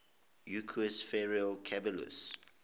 equus ferus caballus